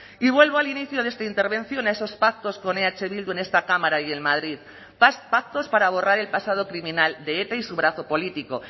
y vuelvo al inicio de esta intervención a esos pactos con eh bildu en esta cámara y en madrid pactos para borrar el pasado criminal de eta y su brazo político